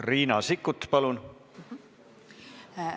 Riina Sikkut, palun!